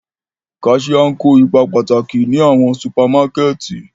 Cashiers ń ko ipa pataki ni awọn supamakẹti.